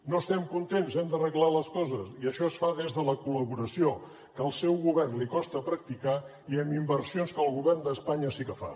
no estem contents hem d’arreglar les coses i això es fa des de la col·laboració que al seu govern li costa practicar i amb inversions que el govern d’espanya sí que fa